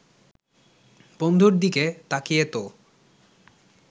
বন্ধুর দিকে তাকিয়ে তো